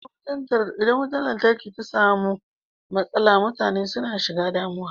Idan mutar lantarki ta samu matsala mutane suna shiga damuwa.